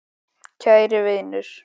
Kæri vinur!